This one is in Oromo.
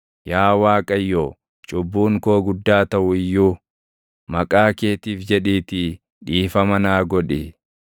Yaa Waaqayyo, cubbuun koo guddaa taʼu iyyuu maqaa keetiif jedhiitii dhiifama naa godhi.